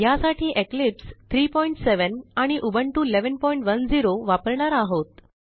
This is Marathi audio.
ह्यासाठी इक्लिप्स 370 आणि उबुंटू 1110 वापरणार आहोत